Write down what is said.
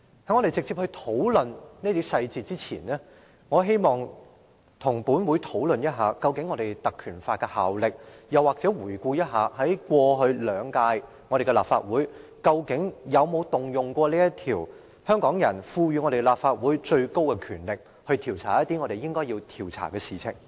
在我直接討論這些細節之前，我希望與本會討論一下《立法會條例》的效力，又或者回顧一下過去兩屆立法會有否運用過這項條例，運用香港人賦予立法會的最高權力，調查一些我們應該調查的事情。